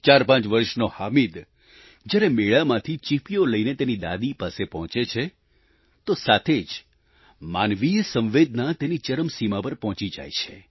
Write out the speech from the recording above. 45 વર્ષનો હામિદ જ્યારે મેળામાંથી ચીપીયો લઈને તેની દાદી પાસે પહોંચે છે તો સાચે જ માનવીય સંવેદના તેની ચરમસિમા પર પહોંચી જાય છે